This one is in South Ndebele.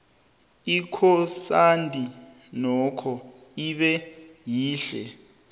ikhonsadi nokho ibe yihle